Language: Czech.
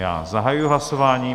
Já zahajuji hlasování.